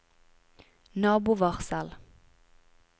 nabovarsel